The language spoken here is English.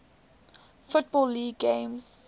football league games